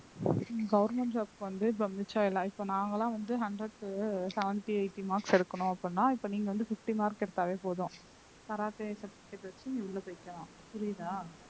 ஹம் government job க்கு வந்து இப்ப mutual அ இப்ப நாங்கெல்லாம் வந்து hundred க்கு seventy eighty marks எடுக்கணும் அப்படின்னா இப்ப நீங்க வந்து fifty mark எடுத்தாவே போதும் கராத்தே certificate வச்சு நீ உள்ள போய்க்கலாம் புரியுதா